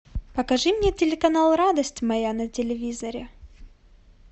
покажи мне телеканал радость моя на телевизоре